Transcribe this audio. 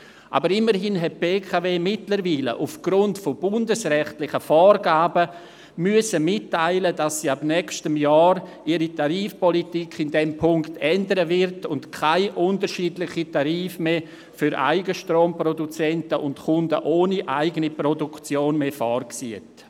Aber immerhin hat die BKW mittlerweile aufgrund von bundesrechtlichen Vorgaben mitteilen müssen, dass sie ihre Tarifpolitik ab nächstem Jahr in diesem Punkt ändern wird und keine unterschiedlichen Tarife für Eigenstromproduzenten und Kunden ohne eigene Produktion mehr vorsieht.